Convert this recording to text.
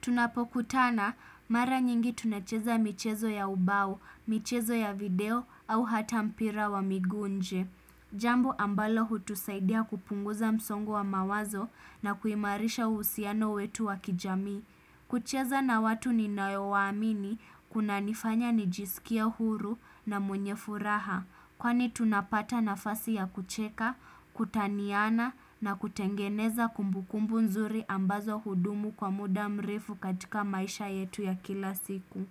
Tunapokutana mara nyingi tunacheza michezo ya ubao, michezo ya video au hata mpira wa miguu nje Jambo ambalo hutusaidia kupunguza msongo wa mawazo na kuimarisha uhusiano wetu wa kijamii kucheza na watu ninaowaamini kunanifanya nijisikie huru na mwenye furaha kwani tunapata nafasi ya kucheka, kutaniana na kutengeneza kumbukumbu nzuri ambazo hudumu kwa muda mrefu katika maisha yetu ya kila siku.